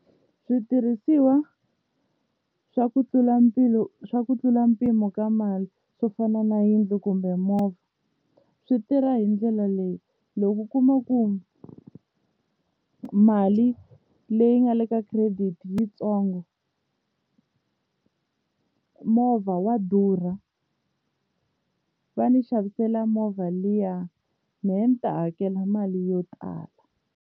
Switirhisiwa swa ku tlula swa ku tlula mpimo ka mali swo fana na yindlu kumbe movha swi tirha hi ndlela leyi loko u kuma ku mali leyi nga le ka credit yitsongo movha wa durha va ni xavisela movha liya me ni ta hakela mali yo tala.